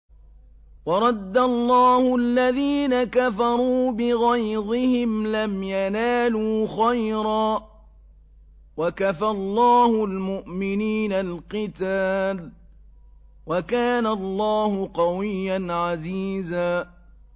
وَرَدَّ اللَّهُ الَّذِينَ كَفَرُوا بِغَيْظِهِمْ لَمْ يَنَالُوا خَيْرًا ۚ وَكَفَى اللَّهُ الْمُؤْمِنِينَ الْقِتَالَ ۚ وَكَانَ اللَّهُ قَوِيًّا عَزِيزًا